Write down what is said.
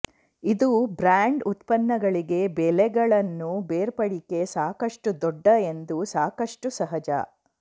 ಇದು ಬ್ರಾಂಡ್ ಉತ್ಪನ್ನಗಳಿಗೆ ಬೆಲೆಗಳನ್ನು ಬೇರ್ಪಡಿಕೆ ಸಾಕಷ್ಟು ದೊಡ್ಡ ಎಂದು ಸಾಕಷ್ಟು ಸಹಜ